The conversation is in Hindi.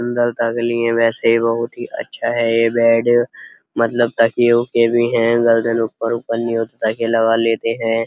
सुन्दरता के लिए वैसे बोहोत ही अच्छा है ये बेड मतलब ताकिये वोकिए भी हैं गर्दन ऊपर वूपर नी हो ताकि लगा लेते हैं।